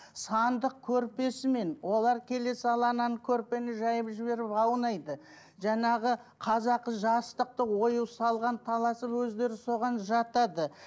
сандық көрпесімен олар келе сала ананы көрпені жайып жіберіп аунайды жаңағы қазақы жастықты ою салған таласып өздері соған жатады